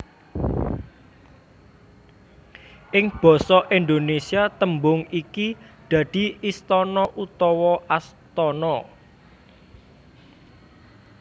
Ing basa Indonesia tembung iki dadi istana utawa astana